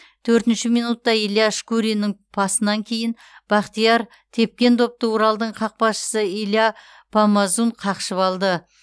төртінші минутта илья шкуриннің пасынан кейін бахтияр тепкен допты уралдың қақпашысы илья помазун қақшып алды